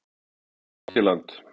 Það er langt í land.